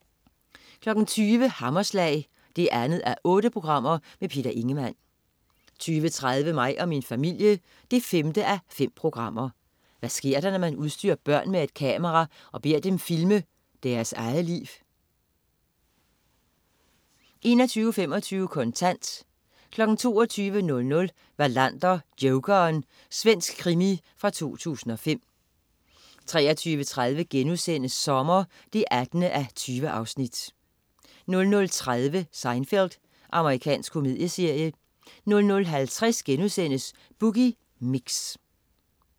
20.00 Hammerslag 2:8. Peter Ingemann 20.30 Mig og min familie 5:5. Hvad sker der, når man udstyrer børn med et kamera og beder dem filme deres eget liv? 21.25 Kontant 22.00 Wallander: Jokeren. Svensk krimi fra 2005 23.30 Sommer 18:20* 00.30 Seinfeld. Amerikansk komedieserie 00.50 Boogie Mix*